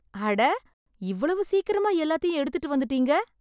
அட! இவ்வளவு சீக்கிரமா எல்லாத்தையும் எடுத்துட்டு வந்துட்டீங்க!